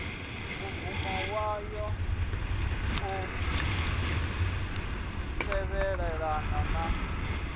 mubvumo wayo u tevhelelana na